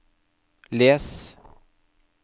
les